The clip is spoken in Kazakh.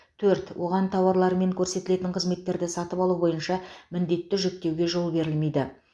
төрт оған тауарлар мен көрсетілетін қызметтерді сатып алу бойынша міндетті жүктеуге жол берілмейді